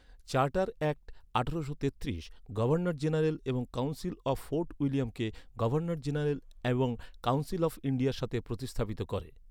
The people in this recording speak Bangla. চার্টার অ্যাক্ট আঠারোশো তেত্রিশ, গভর্নর জেনারেল এবং কাউন্সিল অফ ফোর্ট উইলিয়ামকে, গভর্নর জেনারেল এবং কাউন্সিল অফ ইন্ডিয়ার সাথে প্রতিস্থাপিত করে।